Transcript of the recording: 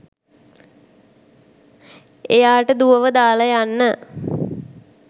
එයාට දුවව දාල යන්න